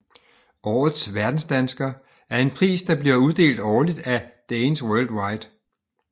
Årets Verdensdansker er en pris der bliver uddelt årligt af Danes Worldwide